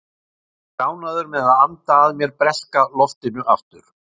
Ég er ánægður með að anda að mér breska loftinu aftur.